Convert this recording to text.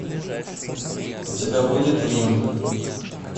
у тебя будет рим